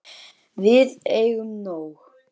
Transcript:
Við eigum nóg.